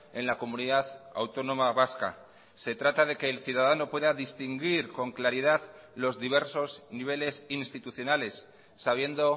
en la comunidad autónoma vasca se trata de que el ciudadano pueda distinguir con claridad los diversos niveles institucionales sabiendo